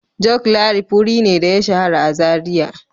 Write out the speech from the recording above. Joclarif wuri ne da ya shahara a Zariya.